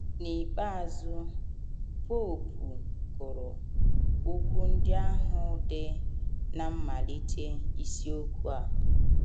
N’ikpeazụ, popu gụrụ okwu ndị ahụ dị ná mmalite isiokwu a.